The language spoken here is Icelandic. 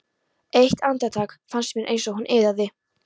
Eitt andartak fannst mér eins og hún iðaði.